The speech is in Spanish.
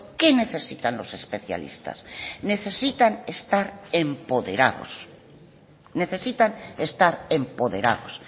qué necesitan los especialistas necesitan estar empoderados necesitan estar empoderados